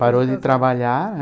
Parou de trabalhar,